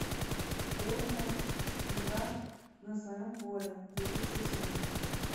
борнмут игра на своем поле две тысячи восемнадцать